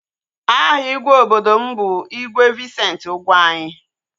Aha igwe obodo m bụ igwe Vincent Ugwuanyi